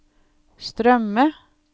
strømme